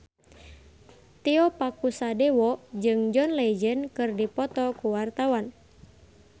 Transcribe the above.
Tio Pakusadewo jeung John Legend keur dipoto ku wartawan